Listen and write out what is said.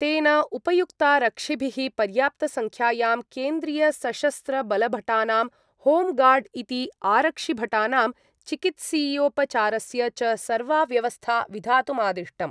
तेन उपायुक्तारक्षिभिः पर्याप्तसंख्यायां केन्द्रीयसशस्त्रबलभटानां, होम्गार्ड् इति आरक्षिभटानां, चिकित्सीयोपचारस्य च सर्वा व्यवस्था विधातुमादिष्टम्।